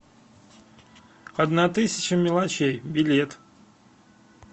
одна тысяча мелочей билет